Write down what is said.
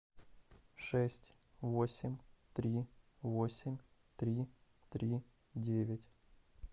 шесть восемь три восемь три три девять